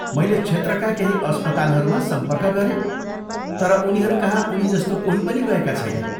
मैले क्षेत्रका केही अस्पतालहरूमा सम्पर्क गरेँ तर उनीहरूकहाँ उनीजस्तो कोही पनि गएका छैनन्।